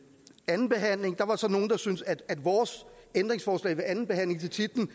andenbehandlingen der var så nogle der syntes at vores ændringsforslag til titlen